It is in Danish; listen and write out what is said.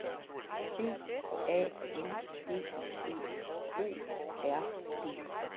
B A N D E O R D